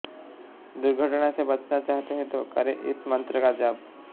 दुर्घटना से बचना चाहते हैं तो करें इस मंत्र का जाप